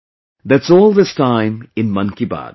That's all this time in 'Mann Ki Baat'